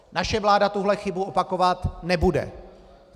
Naše vláda tuhle chybu opakovat nebude.